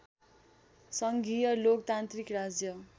सङ्घीय लोकतान्त्रिक राज्य